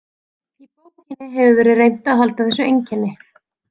Í bókinni hefur verið reynt að halda þessu einkenni.